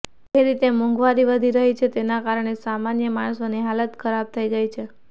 જે રીતે મોંઘવારી વધી રહી છે તેના કારણે સામાન્ય માણસોની હાલત ખરાબ થઇ ગઇ છે